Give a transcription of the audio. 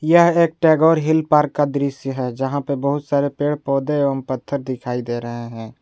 यह एक Tagore hill park का दृश्य है जहां पे बहुत सारे पेड़ पौधे एवं पत्थर दिखाई दे रहे हैं।